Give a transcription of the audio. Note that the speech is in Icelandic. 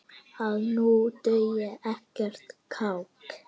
að nú dugi ekkert kák!